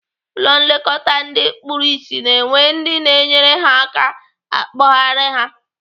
Ụlọ nlekọta ndị kpuru ịsị na-enwe ndị na-enyere ha aka akpọgharị ha.